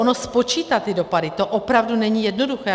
Ono spočítat ty dopady, to opravdu není jednoduché.